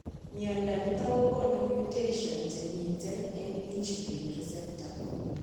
Mnyondo niton kogonu mutations chemiten en insulin receptor